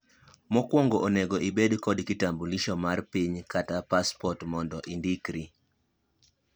mokuongo onego ibed kod kitambulisho mar piny kata pasport mondo indikri